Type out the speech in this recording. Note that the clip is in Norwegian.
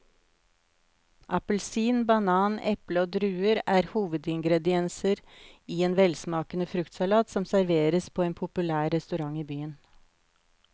Appelsin, banan, eple og druer er hovedingredienser i en velsmakende fruktsalat som serveres på en populær restaurant i byen.